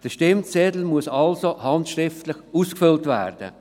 Der Stimmzettel muss also handschriftlich ausgefüllt werden.